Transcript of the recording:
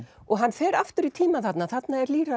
og hann fer aftur í tímann þarna þarna er